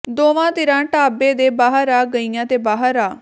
ਦੋਵਾਂ ਧਿਰਾਂ ਢਾਬੇ ਦੇ ਬਾਹਰ ਆ ਗਈਆਂ ਤੇ ਬਾਹਰ ਆ